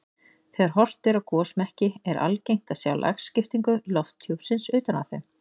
Þegar horft er á gosmekki er algengt að sjá lagskiptingu lofthjúpsins utan á þeim.